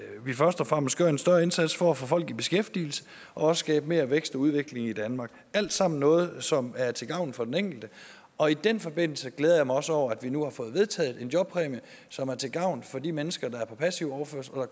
vi først og fremmest gør en større indsats for at få folk i beskæftigelse og skabe mere vækst og udvikling i danmark alt sammen noget som er til gavn for den enkelte og i den forbindelse glæder jeg mig også over at vi nu har fået vedtaget en jobpræmie som er til gavn for de mennesker der er på passiv overførsel og